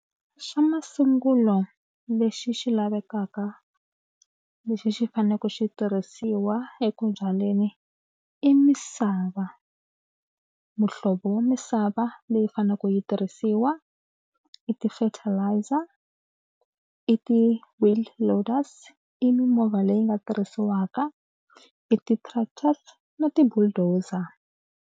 Xa masungulo lexi xi lavekaka lexi xi faneleke xi tirhisiwa eku byaleni i misava. Muhlovo wa misava leyi fanele ku yi tirhisiwa i ti-fertilizer, i ti-wheel loaders, i mimovha leyi nga tirhisiwaka, i ti-tractors na ti-bulldozer.